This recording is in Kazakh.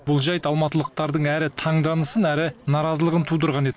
бұл жайт алматылықтардың әрі таңданысын әрі наразылығын тудырған еді